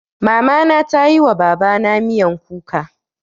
Mama na ta yi wa Baba na miyan kuka.